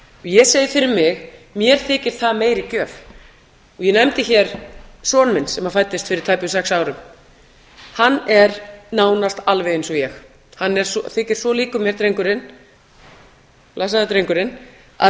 ég segi fyrir mig mér þykir það meiri gjöf ég nefndi hér son minn sem fæddist fyrir tæpum sex árum hann er nánast alveg eins og ég hann þykir svo líkur mér blessaður drengurinn að